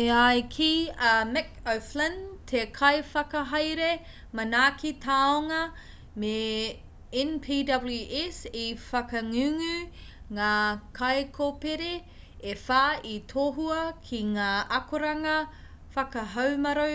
e ai ki a mick o'flynn te kaiwhakahaere manaaki tāonga me npws i whakangungu ngā kaikōpere e whā i tohua ki ngā akoranga whakahaumaru